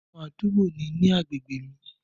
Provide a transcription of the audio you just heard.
Ọmọbìnrin àdúgbò ni ní agbègbè mi.